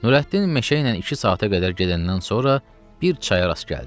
Nurəddin meşə ilə iki saata qədər gedəndən sonra bir çaya rast gəldi.